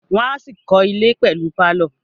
Wọ́n á ṣì kọ́ ilẹ̀ pẹ̀lú pálọ̀